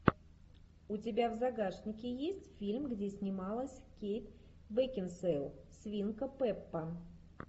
у тебя в загашнике есть фильм где снималась кейт бекинсейл свинка пеппа